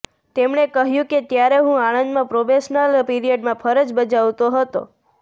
તેમણે કહ્યું કે ત્યારે હું આણંદમાં પ્રોબેશનલ પીરિયડમાં ફરજ બજાવતો હતો